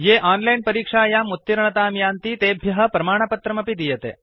ये ओनलाइन् परीक्षायाम् उत्तीर्णतां यान्ति तेभ्य प्रमाणपत्रमपि दीयते